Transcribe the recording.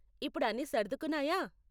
ఇప్పుడు అన్ని సర్దుకున్నాయా ?